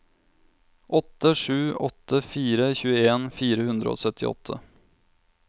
åtte sju åtte fire tjueen fire hundre og syttiåtte